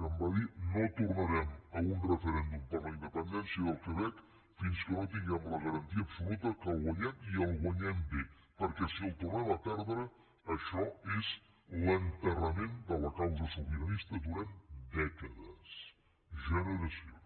que em va dir no tornarem a un referèndum per la independència del quebec fins que no tinguem la garantia absoluta que el guanyem i el guanyem bé perquè si el tornem a perdre això és l’enterrament de la causa sobiranista durant dècades generacions